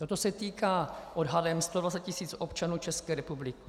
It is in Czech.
Toto se týká odhadem 120 tisíc občanů České republiky.